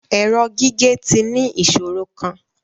Ẹrọ gige ti ni iṣoro kan